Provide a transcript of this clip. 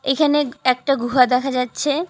এখানে একটা গুহা দেখা যাচ্ছে।